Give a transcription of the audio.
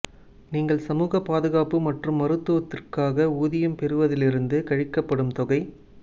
நீங்கள் சமூக பாதுகாப்பு மற்றும் மருத்துவத்திற்காக ஊதியம் பெறுவதிலிருந்து கழிக்கப்படும் தொகை